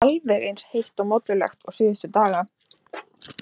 Ekki alveg eins heitt og mollulegt og síðustu daga.